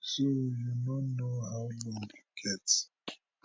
so you no know how long you get